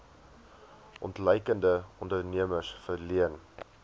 ontluikende ondernemers verleen